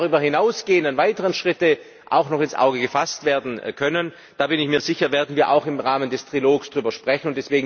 Welche darüber hinausgehenden weiteren Schritte auch noch ins Auge gefasst werden können da bin ich mir sicher werden wir auch im Rahmen des Trilogs besprechen.